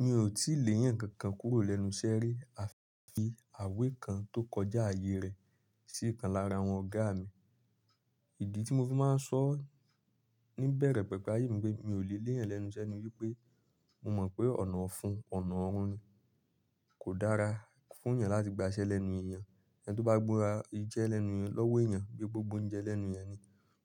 Mi ò tí lè èèyàn kankan kúrò lẹ́nu iṣẹ́ rí, à fi àwé kan tó kọjá ààyè rẹ̀ sí ìkan lára àwọn ọ̀gá mi. Ìdí tí mo fi máa ń sọ níbẹ̀rẹ̀ pẹ̀pẹ̀ ààyè mi pé mi ò lè léyàn lẹ́nu iṣẹ́ ni wípé mo mọ̀ pé ọ̀nà ọ̀fun, ọ̀nà ọ̀run ni. Kò dára fún èèyàn láti gba iṣẹ́ lẹ́nu èèyàn. Ẹni tí ó bá gbónra iṣẹ́ lẹ́nu rẹ̀ lọ́wọ́ èèyàn bíi pé o gba ouńjẹ́ lẹ́nu èèyàn ni.